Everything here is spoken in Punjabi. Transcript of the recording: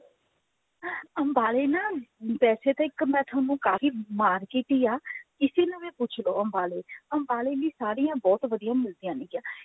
ਅੰਬਾਲੇ ਨਾ ਵੈਸੇ ਤਾ ਮੈਂ ਇੱਕ ਤੁਹਾਨੂੰ ਕਾਫੀ market ਹੀ ਆ ਕਿਸੀ ਨੂੰ ਵੀ ਪੁੱਛ ਲਓ ਅੰਬਾਲੇ ਅੰਬਾਲੇ ਵੀ ਸਾੜੀਆਂ ਬਹੁਤ ਵਧੀਆ ਮਿਲਦਿਆ ਨੇ ਗਿਆ